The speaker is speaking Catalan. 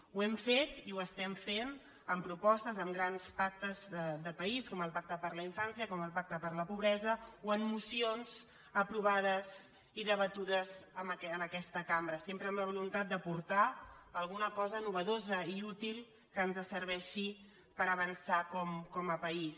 ho hem fet i ho estem fent amb propostes amb grans pactes de país com el pacte per a la in·fància com el pacte contra la pobresa o en mocions aprovades i debatudes en aquesta cambra sempre amb la voluntat d’aportar alguna cosa innovadora i útil que ens serveixi per avançar com a país